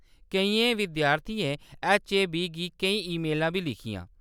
केइयें विद्यार्थियें ऐच्चएबी गी केईं ईमेलां बी लिखियां।